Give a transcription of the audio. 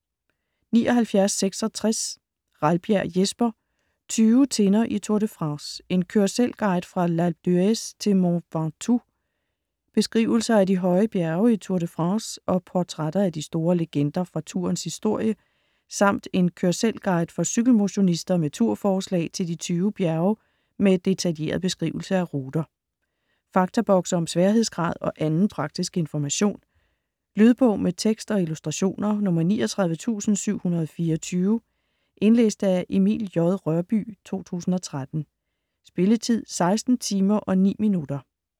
79.66 Ralbjerg, Jesper: Tyve tinder i Tour de France: en kør-selv-guide fra L'Alpe d'Huez til Mont Ventoux Beskrivelser af de høje bjerge i Tour de France og portrætter af de store legender fra tourens historie, samt en kør-selv-guide for cykelmotionister med tur-forslag til de 20 bjerge med detaljeret beskrivelse af ruter. Faktabokse om sværhedsgrad og anden praktisk information. Lydbog med tekst og illustrationer 39724 Indlæst af Emil J. Rørbye, 2013. Spilletid: 16 timer, 9 minutter.